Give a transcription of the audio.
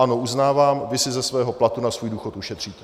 Ano, uznávám, vy si ze svého platu na svůj důchod ušetříte.